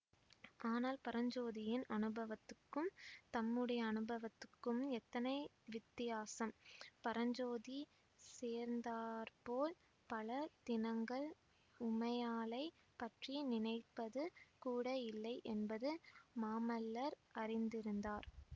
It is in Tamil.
ஆனால் பரஞ்சோதியின் அனுபவத்துக்கும் தம்முடைய அனுபவத்துக்கும் எத்தனை வித்தியாசம் பரஞ்சோதி சேர்ந்தாற்போல் பல தினங்கள் உமையாளைப் பற்றி நினைப்பது கூட இல்லை என்பது மாமல்லர் அறிந்திருந்தார்